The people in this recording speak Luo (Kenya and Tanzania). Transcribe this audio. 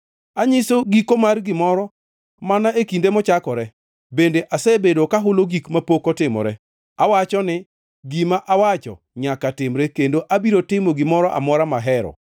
Anyiso giko mar gimoro mana e kinde mochakore, bende asebedo kahulo gik mapok otimore. Awacho ni: Gima awacho nyaka timre kendo abiro timo gimoro amora mahero.